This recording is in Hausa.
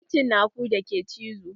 Akwai cinakun da ke cizo